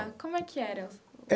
Como é que era?